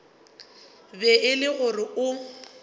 be e le gore o